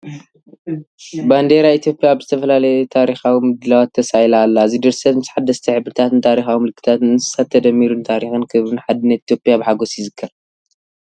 ባንዴራ ኢትዮጵያ ኣብ ዝተፈላለየ ታሪኻዊ ምድላዋት ተሳኢላ ኣላ። እዚ ድርሰት ምስ ሓደስቲ ሕብርታትን ታሪኻዊ ምልክታት እንስሳን ተደሚሩ ንታሪኽን ክብርን ሓድነትን ኢትዮጵያ ብሓጎስ ይዝክር።